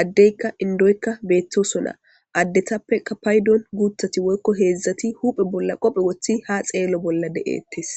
addeykka indoykka beettosona. addetappeka paydon guuthati woykko heedzdzati huphe bolla qophe woththi ha xeello bolla de7ettes.